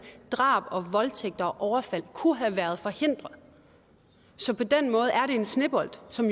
drab og voldtægt og overfald kunne have været forhindret så på den måde er det jo en snebold som